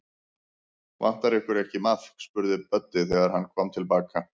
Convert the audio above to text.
Vantar ykkur ekki maðk? spurði Böddi, þegar hann kom til baka.